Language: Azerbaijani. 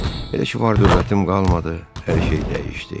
Elə ki, var dövlətim qalmadı, hər şey dəyişdi.